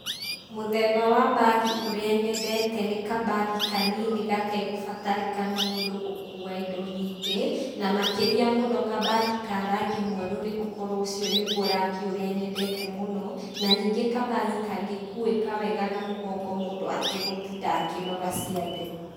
Mũthemba wa mbagi ũrĩa nyendete nĩ kambagi kanini gatekũbatarĩkana mũndũ gũkua indo nyingĩ, na makĩria mũno kambagi ka rangi mwerũ nĩ gũkorwo ũcio nĩguo rangi ũrĩa nyendete mũno, na ningĩ kambagi kangĩkuĩka wega na mũgongo mũndũ ategũtinda akĩnoga ciande.